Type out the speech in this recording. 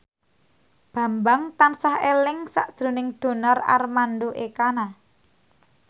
Bambang tansah eling sakjroning Donar Armando Ekana